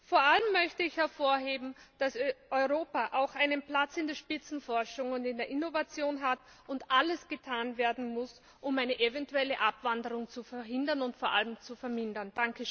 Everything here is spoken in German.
Vor allem möchte ich hervorheben, dass Europa auch einen Platz in der Spitzenforschung und in der Innovation hat und alles getan werden muss, um eine eventuelle Abwanderung zu verhindern und vor allem zu vermindern.